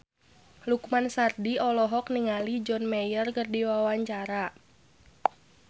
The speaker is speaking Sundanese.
Lukman Sardi olohok ningali John Mayer keur diwawancara